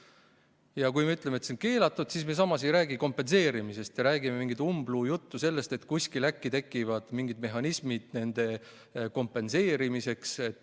Ja kui me ütleme, et see on keelatud, siis me samas ei räägi kompenseerimisest, vaid räägime mingit umbluujuttu sellest, et kuskil äkki tekivad mingid mehhanismid nende kahju kompenseerimiseks.